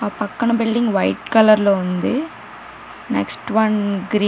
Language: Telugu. ఆ పక్కన బిల్డింగ్ వైట్ కలర్ లో ఉంది. Next one green --